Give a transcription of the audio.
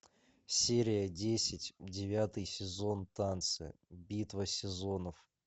серия десять девятый сезон танцы битва сезонов